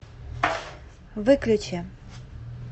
выключи